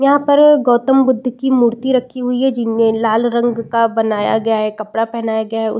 यहाँ पर गौतम बुद्ध की मूर्ति रखी हुई है जिनमे लाल रंग का बनाया गया है कपड़ा पहनाया गया है उ --